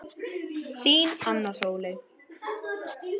Þín, Anna Sóley.